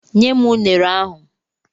Nye m unere ahụ!